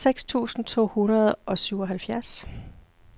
seks tusind to hundrede og syvoghalvfjerds